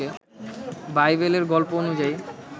বাইবেলের গল্প অনুযায়ী